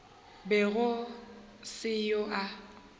be go se yo a